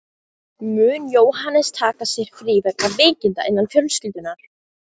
Mun Jóhannes taka sér frí vegna veikinda innan fjölskyldunnar.